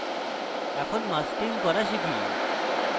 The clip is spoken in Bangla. এখন masking করা শিখি